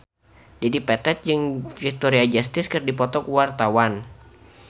Dedi Petet jeung Victoria Justice keur dipoto ku wartawan